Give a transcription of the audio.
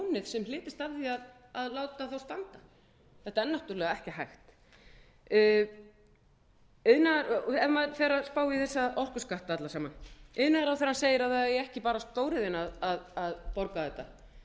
sem hlytist af því að láta þá standa þetta er náttúrlega ekki hægt ef maður fer að spá í þessa orkuskatta alla saman iðnaðarráðherrann segir að það eigi ekki bara stóriðjan að borga þetta